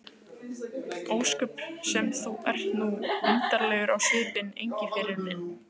Ósköp sem þú ert nú undarlegur á svipinn, Engiferinn minn.